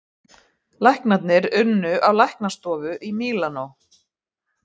Læknarnir unni á læknastofu í Mílanó